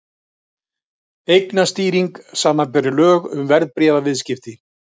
Eignastýring, samanber lög um verðbréfaviðskipti.